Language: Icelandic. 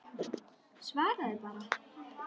Svaraðu bara.